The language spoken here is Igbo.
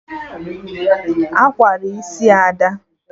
Awara isi Ada